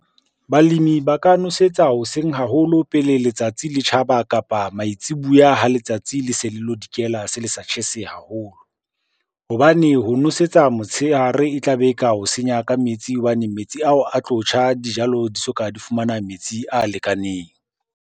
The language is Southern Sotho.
Balemi ba ka nosetsa hoseng haholo pele letsatsi le tjhaba, kapa maitsibuya ha letsatsi le se le lo dikela se le sa tjhese haholo. Hobane ho nosetsa motsheare e tlabe e ka o senya ka metsi hobane metsi ao a tlo tjha dijalo di soka di fumana metsi a lekaneng.